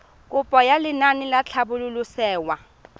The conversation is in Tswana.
kopo ya lenaane la tlhabololosewa